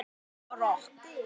Hún leikur rokk.